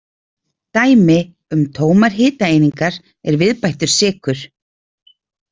Dæmi um tómar hitaeiningar er viðbættur sykur.